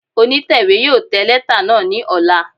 Onitẹwe yóò tẹ lẹta naa ni ọla